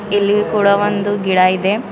ಇಲ್ಲಿ ಕೂಡ ಒಂದು ಗಿಡ ಇದೆ.